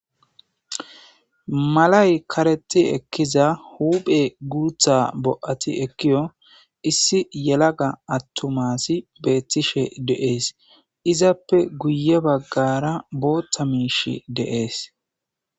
Malay kareti ekkiza huphe guutha bo7ati ekkiyo issi yelaga attumasi beettishe deees izappe guye baggara bootta miish deees.